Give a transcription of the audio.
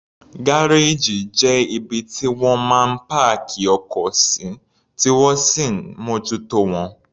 Gárèjì jẹ́ ibi tí wọ́n máa ń páàkì ọkọ̀ sí, tí wọ́n sì ń mójútó wọn.